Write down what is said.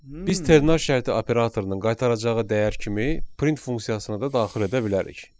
Biz ternar şərti operatorunun qaytaracağı dəyər kimi print funksiyasını da daxil edə bilərik.